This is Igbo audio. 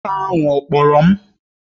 Nwoke ahụ ọ kpọrọ m?